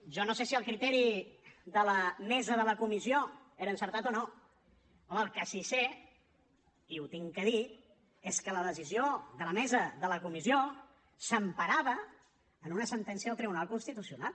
jo no sé si el criteri de la mesa de la comissió era encertat o no home el que sí que sé i ho haig de dir és que la decisió de la mesa de la comissió s’emparava en una sentència del tribunal constitucional